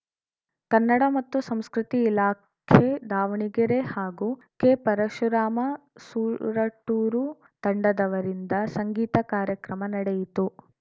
ಕನ್ನಡ ಮತ್ತು ಸಂಸ್ಕೃತಿ ಇಲಾಖೆ ದಾವಣಗೆರೆ ಹಾಗೂ ಕೆ ಪರಶುರಾಮ ಸೂರಟೂರು ತಂಡದವರಿಂದ ಸಂಗೀತ ಕಾರ್ಯಕ್ರಮ ನಡೆಯಿತು